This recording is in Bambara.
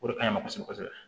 O de ka ɲi kɔsɔbɛ kosɛbɛ